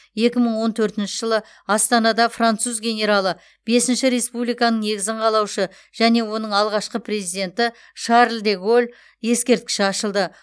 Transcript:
екі мың он төртінші жылы астанада француз генералы бесінші республиканың негізін қалаушы және оның алғашқы президенті шарль де голль ескерткіші ашылды